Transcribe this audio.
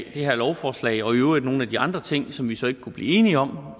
her lovforslag og i øvrigt nogle af de andre ting som vi så ikke kunne blive enige om